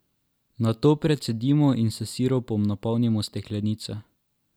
Nato precedimo in s sirupom napolnimo steklenice.